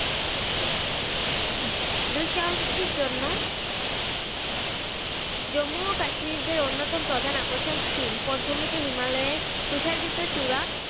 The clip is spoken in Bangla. দুঃসাহতির জন্য জম্মু ও কাশ্মীর দের অন্যতম প্রধান আকর্ষণ skiing পটভূমি তে হিমালয়ে তুষার বিদ্যচুড়া